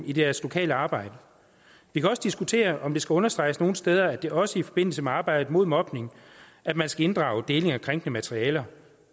i deres lokale arbejde vi kan også diskutere om det skal understreges nogle steder at det også er i forbindelse med arbejdet imod mobning at man skal inddrage deling af krænkende materiale